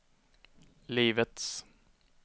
livets